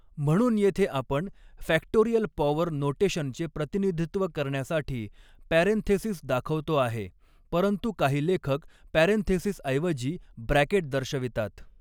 म्हणून येथे आपण फॅक्टोरियल पॉवर नोटेशनचे प्रतिनिधित्व करण्यासाठी पॅरेंथेसिस दाखवतो आहे परंतु काही लेखक पॅरेंथेसिस ऐवजी ब्रॅकेट दर्शवितात.